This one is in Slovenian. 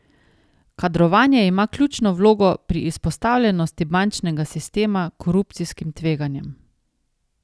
Kadrovanje ima ključno vlogo pri izpostavljenosti bančnega sistema korupcijskim tveganjem.